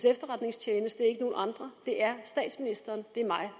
efterretningstjeneste ikke nogen andre det er statsministeren det er mig